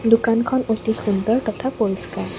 দোকানখন অতি সুন্দৰ তথা পৰিস্কাৰ।